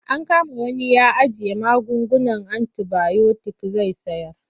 An kama wani ya ajiye magungunan antibayotik zai sayar.